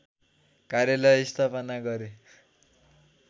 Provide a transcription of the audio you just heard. कार्यालय स्थापना गरे